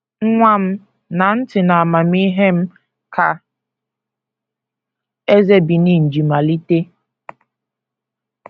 “ Nwa m, ṅaa ntị n’amamihe m, ” ka eze Benin ji malite.